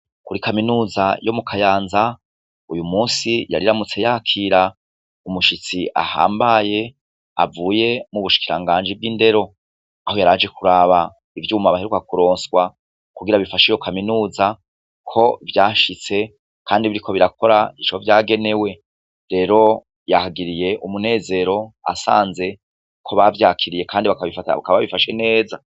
Muri kaminuza yo mu kayanza uyu munsi yariyamutse yakira umushitsi ahambaye avuye mubushikiranganji bwindero aho yaraje kuraba ivyuma baheruka kuronswa kugira bifashe iyo kaminuza ko vyashitse kandi biriko birakora ico vyagenewe rero yahagiriye umunezero asanze ko bavyakiriye kandi bakaba babifashe neza